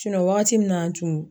waagati min na an tun.